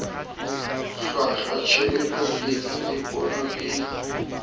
hlwahlwa tjhebelopele le pono e